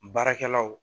Baarakɛlaw